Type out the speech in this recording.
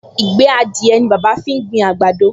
Ìgbẹ́ adìẹ ni bàbá fi gbin àgbàdo